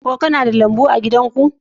Kuna da lambu a gidan ku?